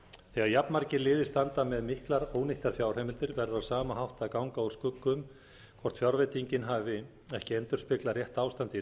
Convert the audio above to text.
þegar jafnmargir liðir standa með miklar ónýttar fjárheimildir verður á sama hátt að ganga úr skugga um hvort fjárveitingin hafi ekki endurspeglað rétt ástand í